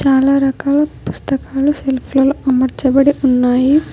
చాలా రకాల పుస్తకాలు సెల్ఫ్లలో అమర్చబడి ఉన్నాయి.